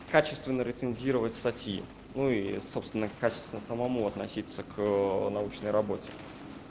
качественно рецензировать статьи ну и собственно качественно самому относиться к научной работе